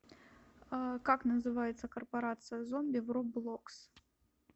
как называется корпорация зомби в роблокс